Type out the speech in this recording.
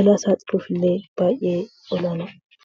balaa salphoof illee baayyee balaafamu.